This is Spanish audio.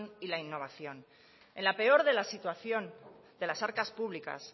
y la innovación en la peor de la situación de las arcas públicas